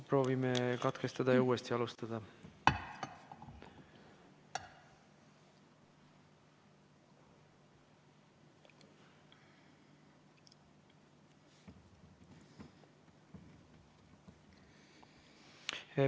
Proovime katkestada ja uuesti alustada.